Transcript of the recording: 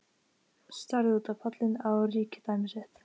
Starði út á pallinn, á ríkidæmi sitt.